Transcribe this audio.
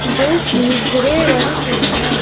जोकि ग्रे रंग के हैं।